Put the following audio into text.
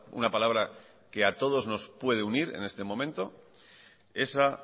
una palabra que a todos nos puede unir en este momento esa